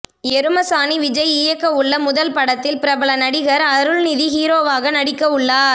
எருமசாணி விஜய் இயக்க உள்ள முதல் படத்தில் பிரபல நடிகர் அருள்நிதி ஹீரோவாக நடிக்க உள்ளார்